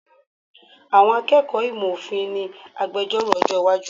Àwọn akẹ́kọ̀ọ́ ìmọ̀ òfin ni agbejọ́rò ọjọ́ iwájú.